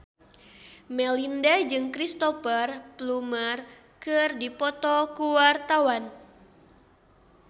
Melinda jeung Cristhoper Plumer keur dipoto ku wartawan